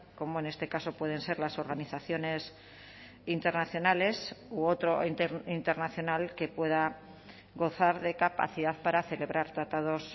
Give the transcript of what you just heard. como en este caso pueden ser las organizaciones internacionales u otro internacional que pueda gozar de capacidad para celebrar tratados